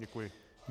Děkuji.